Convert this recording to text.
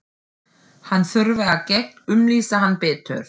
Hún þurfi að gegnumlýsa hann betur.